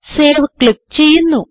save click ചെയ്യുന്നു